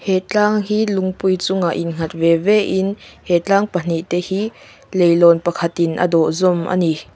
he tlang hi lungpui chungah innghat ve ve in he tlang pahnih te hi leihlawn pakhatin a dawh zawm a ni.